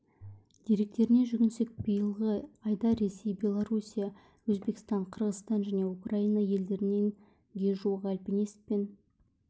деректеріне жүгінсек биылғы айда ресей белоруссия өзбекстан қырғызстан және украина елдерінен ге жуық альпинист пен